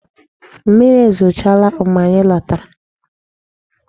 Mmiri ezochala mgbe anyị lọtara.